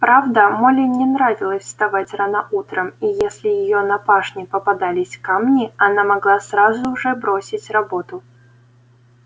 правда молли не нравилось вставать рано утром и если её на пашне попадались камни она могла сразу же бросить работу